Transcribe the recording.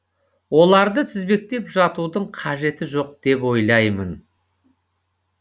оларды тізбектеп жатудың қажеті жоқ деп ойлаймын